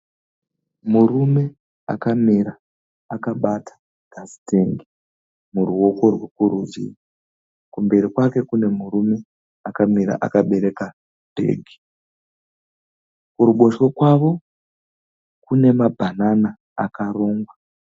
Murume akamira akabata gasi tengi muruoko rweku rudyi. Kumberi kwake kune murume akamira akabereka bhegi. Kuruboshwe kwavo kune mabhanana akarongwa.